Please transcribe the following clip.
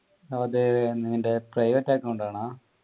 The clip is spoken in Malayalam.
അതെ നിൻ്റെ privet account ആണോ